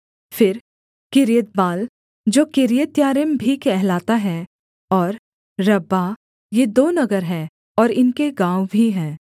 फिर किर्यतबाल जो किर्यत्यारीम भी कहलाता है और रब्बाह ये दो नगर हैं और इनके गाँव भी हैं